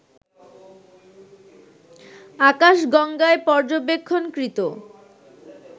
আকাশগঙ্গায় পর্যবেক্ষণকৃত